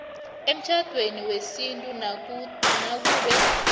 emtjhadweni wesintu nakube